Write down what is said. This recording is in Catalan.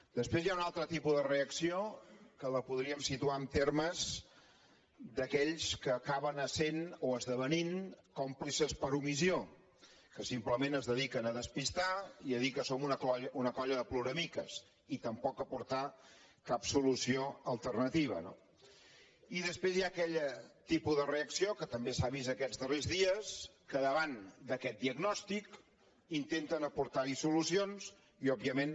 després hi ha un altre tipus de reacció que la podríem situar en termes d’aquells que acaben essent o esdevenint còmplices per omissió que simplement es dediquen a despistar i a dir que som una colla de ploramiques i tampoc a aportar cap solució alternativa no i després hi ha aquell tipus de reacció que també s’ha vist aquests darrers dies que davant d’aquest diagnòstic intenta aportarhi solucions i òbviament